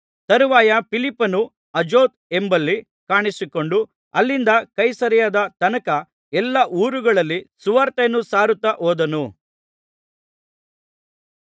ತರುವಾಯ ಫಿಲಿಪ್ಪನು ಅಜೋತ್ ಎಂಬಲ್ಲಿ ಕಾಣಿಸಿಕೊಂಡು ಅಲ್ಲಿಂದ ಕೈಸರೈಯದ ತನಕ ಎಲ್ಲಾ ಊರುಗಳಲ್ಲಿ ಸುವಾರ್ತೆಯನ್ನು ಸಾರುತ್ತಾ ಹೋದನು